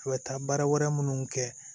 A bɛ taa baara wɛrɛ minnu kɛ